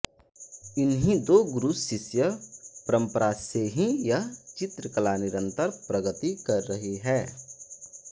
इन्हीं दो गुरुशिष्य परम्परा से ही यह चित्रकला निरंतर प्रगति कर रही है